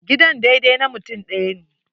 Gidan daidai na mutum ɗaya ne.